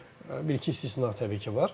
Bir-iki istisna təbii ki, var.